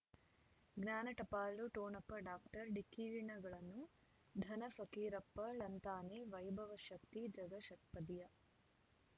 ಜ್ಞಾನ ಟಪಾಲು ಠೋ ಣಪ ಡಾಕ್ಟರ್ ಢಿಕ್ಕಿ ಣಗಳನು ಧನ ಫಕೀರಪ್ಪ ಳಂತಾನೆ ವೈಭವ್ ಶಕ್ತಿ ಝಗಾ ಷಟ್ಪದಿಯ